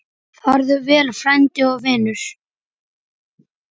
Farðu vel, frændi og vinur.